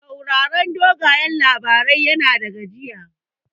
Sauraron dogayen labarai yana da gajiya.